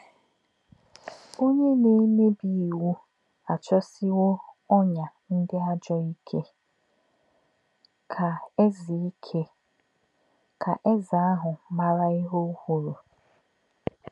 “Ọ̀nyé̄ nā̄-èmè̄bí̄ ìwù̄ àchọ̄sị̀wọ̀ ọ́nyà̄ ndí̄ àjọ̄ íkè̄,” kā̄ èzè̄ íkè̄,” kā̄ èzè̄ āhụ̄ mà̄rà̄ íhè̄ kwù̄rù̄.